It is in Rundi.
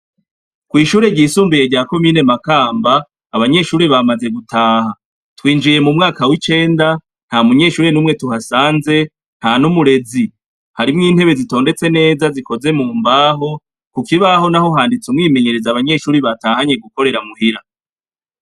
Kw'ishure ryisumbuye rya komine Makamba, abanyeshure bamaze gutaha, twinjiye m'umwaka w'icenda nta munyeshure n'umwe tuhasanze nta n'umurezi, harimwo intebe zitondetse neza zikoze mu mbaho, ku kibaho naho handitseko umwimenyerezo abanyeshure batahanye gukorera muhira.